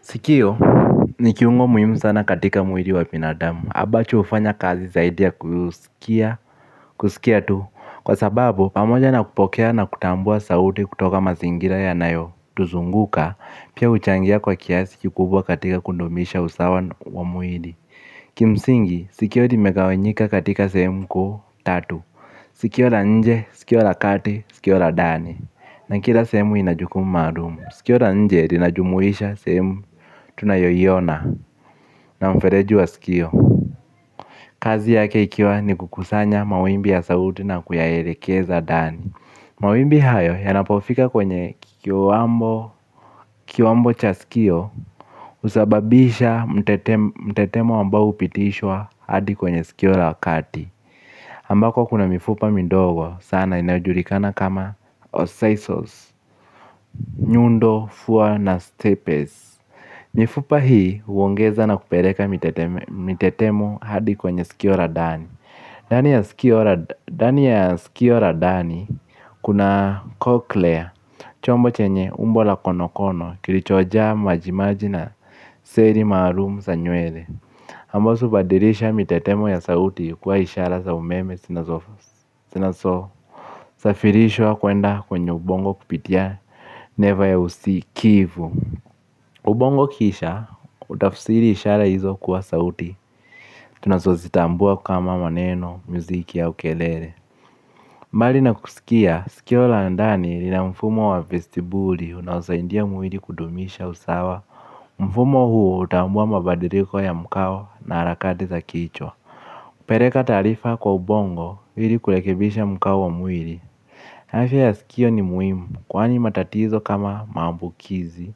Sikio ni kiungo muhimu sana katika mwili wa binadamu. Abacho hufanya kazi zaidi ya kusikia tu. Kwa sababu, pamoja na kupokea na kutambua sauti kutoka mazingira ya nayo tuzunguka, pia huchangia kwa kiasi kukubwa katika kudumisha usawa wa muhidi. Kimsingi, sikio limegawanyika katika sehemu kuu tatu. Sikio la nje, sikio la kati, sikio la dani. Na kila sehemu inajuku maalumu. Sikio la nje linajumuisha sehemu tunayoiona na mfereji wa sikio. Kazi yake ikiwa ni kukusanya mawimbi ya sauti na kuyaelekeza dani. Mawibi haya yanapofika kwenye kiwambo cha sikio husababisha mtetemo ambao hupitishwa hadi kwenye sikio la kati ambako kuna mifupa midogo sana inayojulikana kama osisols Nyundo, Fuwa na Stepes Mifupa hii huongeza na kupereka mitetemo hadi kwenye sikio ra ndani. Dani ya sikio ra dani kuna cochlear chombo chenye umbo la konokono kilichojaa majimaji na seri maalumu sa nywele ambazo hubadirisha mitetemo ya sauti kuwa ishara za umeme sinazo sinaso safirishwa kuenda kwenye ubongo kupitia neva ya usikivu. Ubongo kisha, utafsiri ishara hizo kuwa sauti. Tunazo zitambua kama maneno, muziki au kelele. Mbali na kusikia, sikio la ndani lina mfumo wa vestibuli unaosaindia mwili kudumisha usawa. Mfumo huo hutambua mabadiriko ya mkao na harakati za kichwa. Pereka taarifa kwa ubongo ili kurekebisha mkao wa mwili. Afya ya sikio ni muhimu kwani matatizo kama maambukizi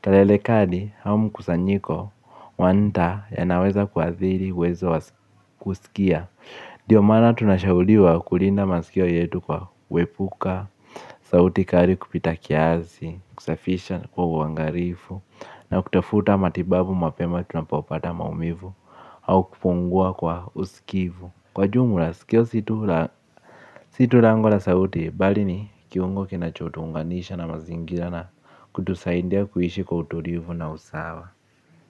kelele kali au mkusanyiko wanta ya naweza kuadhiri uwezo wa kusikia. Dio maana tunashauliwa kulinda masikio yetu kwa wepuka sauti kari kupita kiasi kusafisha kwa uangarifu na kutafuta matibabu mapema tunapopata maumivu au kufungua kwa usikivu. Kwa jumla sikio situ lango la sauti balini kiwango kinacho tuunganisha na mazingira na kutusaindia kuishi kwa uturivu na usawa.